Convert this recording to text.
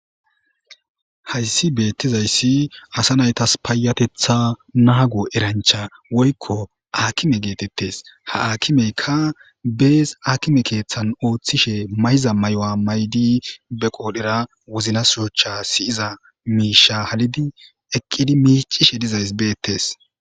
Hayssi beettizayssi asa naytas paayatetha naago erancha woykko akime geetettes ha akimeykka bees akime keeththan ooththishe mayza may7o7a maydi be qoodhera wuznasoocha siyiza miisha halidi eqqidi miicishe dizays beettes